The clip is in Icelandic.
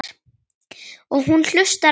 Og hún hlustar á þær.